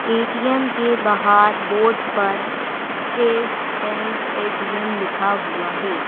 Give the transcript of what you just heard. ATM के बाहर board पर स्टेट बैंक ए_टी_एम लिखा हुआ है।